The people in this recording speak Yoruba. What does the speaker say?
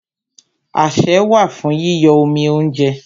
Asẹ́ wà fún yíyọ́ omi óúnjẹ.